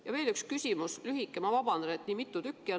Ja veel üks lühike küsimus – vabandust, et neid nii mitu on!